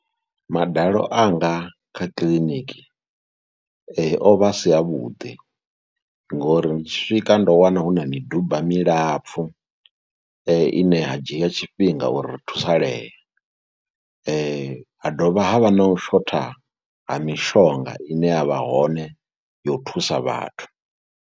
Madalo anga kha kiḽiniki o vha a si avhuḓi ngori ndi tshi swika ndo wana hu na miduba milapfhu ine ya dzhia tshifhinga uri ri thusalee, ha dovha havha na u shotha ha mishonga ine ya vha hone ya u thusa vhathu.